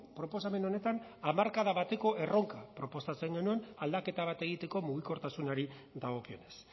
proposamen honetan hamarkada bateko erronka proposatzen genuen aldaketa bat egiteko mugikortasunari dagokionez